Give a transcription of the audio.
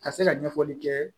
Ka se ka ɲɛfɔli kɛ